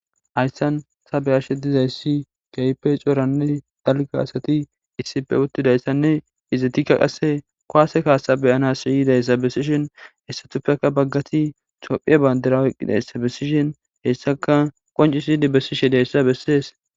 Hayssan sabe ashe dizayssi kaype cooranne dalgaasati issipfe uttidayssanne izatikka qasse koase kaasa beyana siyidayssa besishin hessatuppeka baggati tophiye bandirawuqqidayssa besishin hessaka qoncisidi besishi diayssa bessees